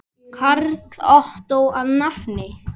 Karl Ottó að nafni.